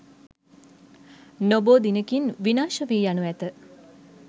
නොබෝ දිනකින් විනාශ වී යනු ඇත.